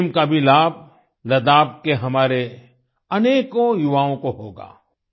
stadium का भी लाभ लड़ख के हमारे अनेकों युवाओं को होगा